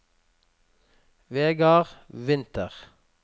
Vegard Winther